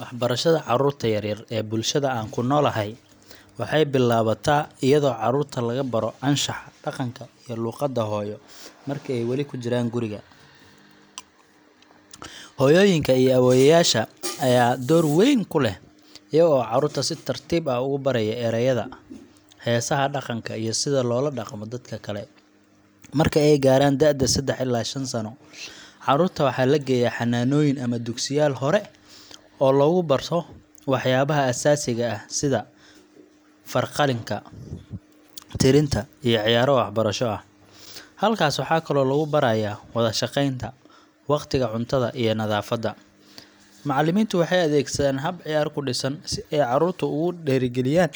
Waxbarashada carruurta yaryar ee bulshada aan ku noolahay waxay bilaabataa iyadoo carruurta lagu baro anshaxa, dhaqanka, iyo luqadda hooyo marka ay wali ku jiraan guriga. Hooyooyinka iyo awoowayaasha ayaa door weyn ku leh, iyaga oo carruurta si tartiib ah ugu baraya ereyada, heesaha dhaqanka iyo sida loola dhaqmo dadka kale. Markay gaaraan da’da 3 ilaa 5 sano, carruurta waxaa la geeyaa xannaanooyin ama dugsiyaal hore oo lagu barto waxyaabaha aasaasiga ah sida farqallinta, tirinta, iyo ciyaaro waxbarasho ah. Halkaas waxaa kaloo lagu barayaa wada-shaqaynta, waqtiga cuntada, iyo nadaafadda. Macallimiintu waxay adeegsadaan hab ciyaar ku dhisan si ay carruurta ugu dhiirrigeliyaan